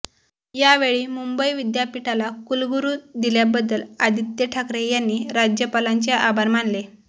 यावेळी मुंबई विद्यापीठाला कुलगुरू दिल्याबद्दल आदित्य ठाकरे यांनी राज्यपालांचे आभार मानले